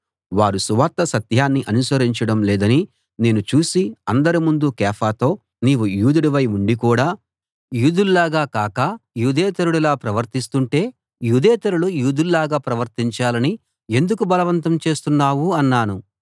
వారు సువార్త సత్యాన్ని అనుసరించడం లేదని నేను చూసి అందరి ముందు కేఫాతో నీవు యూదుడవై ఉండి కూడా యూదుల్లాగా కాక యూదేతరుడిలా ప్రవర్తిస్తుంటే యూదేతరులు యూదుల్లాగా ప్రవర్తించాలని ఎందుకు బలవంతం చేస్తున్నావు అన్నాను